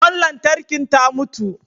Ƙwan lantarkin ta mutu.